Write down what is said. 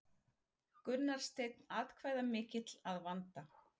Gunnar Steinn atkvæðamikill að vanda